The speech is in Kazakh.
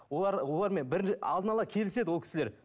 олар олармен алдын ала келіседі ол кісілер